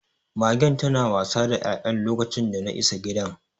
Magen tana ta wasa da ya'yan lokacin dana isa gidan.